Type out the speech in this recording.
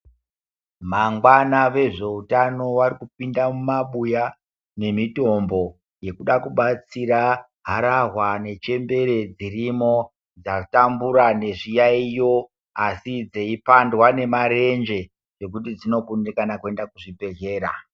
Mangwana vezveutano vari kupinda mumabuya nemitombo yekuda kubatsira harahwa nechembere dzirimo dzatambura nezviyaiyo asi dzeipandwa nemarenje ekuti dzinokundikana kuenda kuzvibhedhlera.